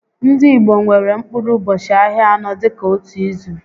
Ndị Igbo nwèrè mkpụrụ ụbọchị ahịa anọ dịka ótú ízù